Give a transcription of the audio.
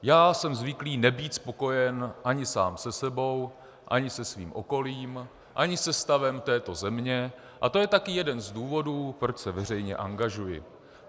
Já jsem zvyklý nebýt spokojen ani sám se sebou, ani se svým okolím, ani se stavem této země a to je taky jeden z důvodů, proč se veřejně angažuji.